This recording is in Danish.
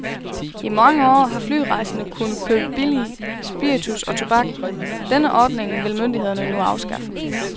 I mange år har flyrejsende kunnet købe billig spiritus og tobak, denne ordning vil myndighederne nu afskaffe.